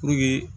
Puruke